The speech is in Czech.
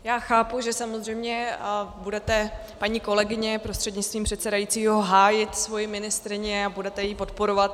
Já chápu, že samozřejmě budete, paní kolegyně prostřednictvím předsedajícího, hájit svoji ministryni a budete ji podporovat.